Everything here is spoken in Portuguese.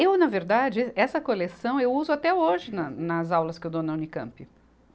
Eu, na verdade, essa coleção eu uso até hoje na, nas aulas que eu dou na Unicampe.